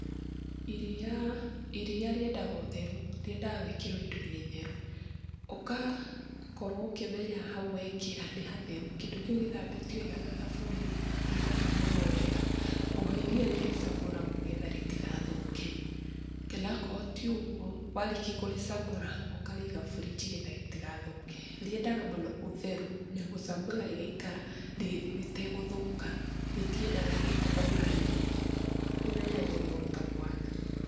Iria, iria rĩendaga ũtheru, rĩendaga gũĩkĩrwo indo-inĩ theru ũgakorwo ũkĩmenya hau wekĩra nĩ hatheru, kĩndũ kĩu gĩthambĩtio wega na thabuni, gĩgakamũrwo wega, oho iria nĩ rĩcamuragwo getha rĩtigathũke. Kana akoo ti ũguo warĩkia kũrĩcamũra, ũkarĩiga burinji getha rĩtigathũke, rĩendaga mũno ũtheru na gũcamũra rĩgaikara rĩtegũthũka, rĩtiendaga gĩko ona hanini, rĩmenyagĩrĩrwo ta mwana.